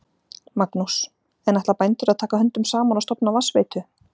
Magnús: En ætla bændur að taka höndum saman og stofna vatnsveitu?